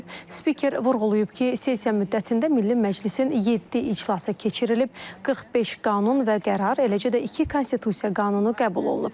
Spiker vurğulayıb ki, sessiya müddətində Milli Məclisin 7 iclası keçirilib, 45 qanun və qərar, eləcə də iki konstitusiya qanunu qəbul olunub.